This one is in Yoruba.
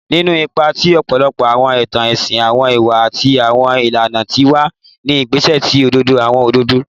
Ninu ipa ti ọpọlọpọ awọn itan ẹsin, awọn iwa ati awọn ilana ti wa ni gbigbe si ọdọ awọn ọdọ